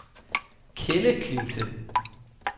Kelleklinte